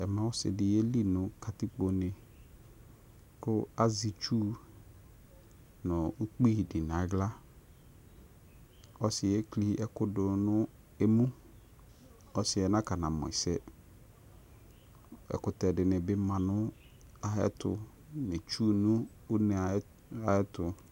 Ɔsɩdɩ yeli nʊ katikpone kʊ azɛ ɩtsʊ nʊ ʊkpɩ dɩ nʊ aɣla ɔsɩyɛ eklɩ ɛkʊ dʊ nʊ eme ɔsɩyɛ nakɔnamʊ ɛsɛ ɛkʊtɛ dɩnɩ bɩ ma nʊ ayʊ ɛtʊ nʊ itsu nʊ ʊne ayʊ ɛtʊ